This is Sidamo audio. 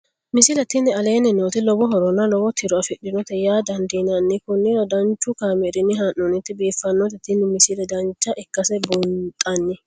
misile tini aleenni nooti lowo horonna lowo tiro afidhinote yaa dandiinanni konnira danchu kaameerinni haa'noonnite biiffannote tini misile dancha ikkase buunxanni